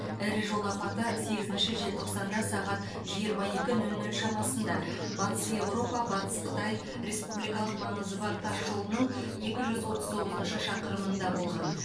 ірі жол апаты сегізінші желтоқсанда сағат жиырма екі нөл нөл шамасында батыс еуропа батыс қытай республикалық маңызы бар тас жолының екі жүз оты тоғызыншы шақырымында болған